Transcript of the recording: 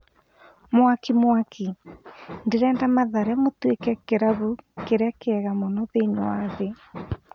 Mwakimwaki: Ndĩrenda Mathare matuĩke kĩrabu kĩrĩa kĩega mũno thĩiniĩ wa thĩ.